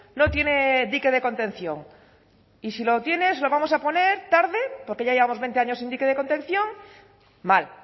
no tiene dique de contención y si lo tiene se lo vamos a poner tarde porque ya llevamos veinte años sin dique de contención mal